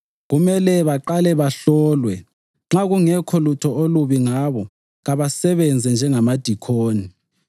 Kumele baqale bahlolwe; nxa kungekho lutho olubi ngabo, kabasebenze njengamadikoni.